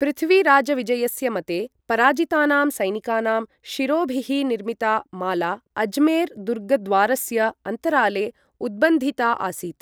पृथ्वीराजविजयस्य मते, पराजितानां सैनिकानाम् शिरोभिः निर्मिता माला अजमेर् दुर्गद्वारस्य अन्तराले उद्बन्धिता आसीत्।